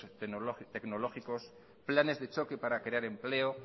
tecnológicos planes de choque para crear empleo